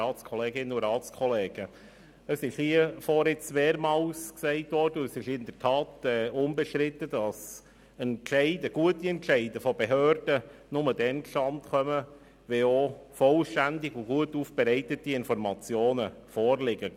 Es wurde hier vorne mehrmals gesagt, und es ist in der Tat unbestritten, dass gute Entscheide von Behörden nur dann zustande kommen, wenn auch vollständige und gut aufbereitete Informationen vorliegen.